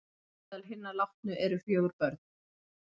Meðal hinna látnu eru fjögur börn